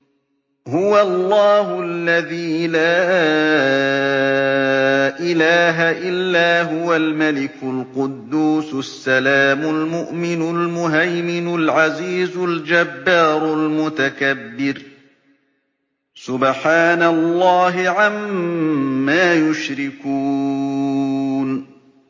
هُوَ اللَّهُ الَّذِي لَا إِلَٰهَ إِلَّا هُوَ الْمَلِكُ الْقُدُّوسُ السَّلَامُ الْمُؤْمِنُ الْمُهَيْمِنُ الْعَزِيزُ الْجَبَّارُ الْمُتَكَبِّرُ ۚ سُبْحَانَ اللَّهِ عَمَّا يُشْرِكُونَ